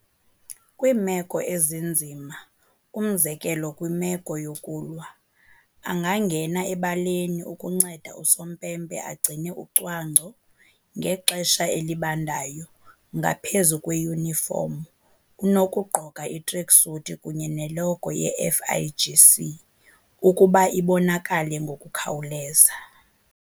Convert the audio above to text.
Kwiimeko ezinzima, umzekelo kwimeko yokulwa, angangena ebaleni ukunceda usompempe agcine ucwangco. Ngexesha elibandayo, ngaphezu kweyunifomu, unokugqoka i-tracksuit kunye ne-logo ye-FIGC, ukuba ibonakale ngokukhawuleza.